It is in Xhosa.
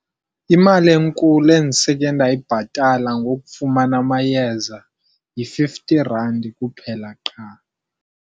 Imali enkulu endiseke ndayibhatala ngokufumana amayeza yi-fifty rand kuphela qha.